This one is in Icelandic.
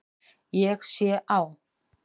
Ég sé á